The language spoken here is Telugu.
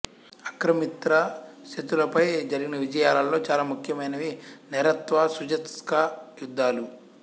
ఆక్రమిత శక్తులపై జరిగిన విజయాల్లో చాలా ముఖ్యమైనవి నెరెత్వా సుత్జేస్కా యుద్ధాలు